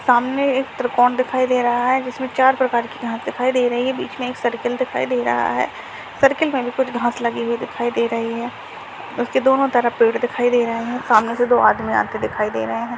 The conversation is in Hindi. सामने एक त्रिकोण दिखाई दे रहा है जिस में चार प्रकार की घास दिखाई दे रही है बीच में एक सर्किल दिखाई दे रहा है सर्किल में भी कुछ घास लगी हुई दिखाई दे रही है उस के दोनों तरफ पेड़ दिखाई दे रहे हैं सामने से दो आदमी आते दिखाई दे रहे हैं।